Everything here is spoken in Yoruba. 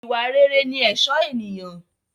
Ìwà rere ní ẹ̀sọ́ ènìyàn